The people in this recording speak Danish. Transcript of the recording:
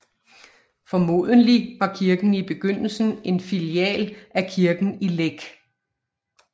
Formodentlig var kirken i begyndelsen en filial af kirken i Læk